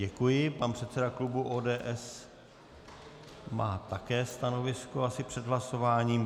Děkuji, pan předseda klubu ODS má také stanovisko asi před hlasováním.